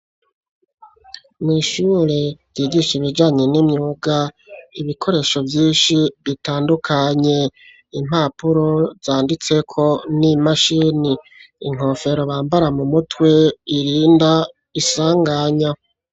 Mw'ishure jigisha ibijanye n'imyuga ibikoresho vyinshi bitandukanye impapuro zanditseko n'imashini inkofero bambara mu mutwe irinda isanganya.